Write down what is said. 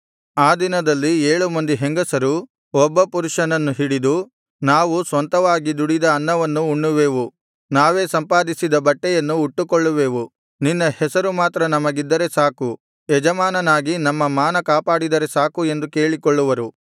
ಆ ದಿನದಲ್ಲಿ ಏಳು ಮಂದಿ ಹೆಂಗಸರು ಒಬ್ಬ ಪುರುಷನನ್ನು ಹಿಡಿದು ನಾವು ಸ್ವಂತವಾಗಿ ದುಡಿದ ಅನ್ನವನ್ನು ಉಣ್ಣುವೆವು ನಾವೇ ಸಂಪಾದಿಸಿದ ಬಟ್ಟೆಯನ್ನು ಉಟ್ಟುಕೊಳ್ಳುವೆವು ನಿನ್ನ ಹೆಸರು ಮಾತ್ರ ನಮಗಿದ್ದರೆ ಸಾಕು ಯಜಮಾನನಾಗಿ ನಮ್ಮ ಮಾನ ಕಾಪಾಡಿದರೆ ಸಾಕು ಎಂದು ಕೇಳಿಕೊಳ್ಳುವರು